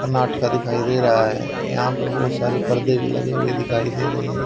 दिखाई दे रहा है यहां पर बहुत सारे पर्दे भी लगे हुए दिखाई दे रहे हैं।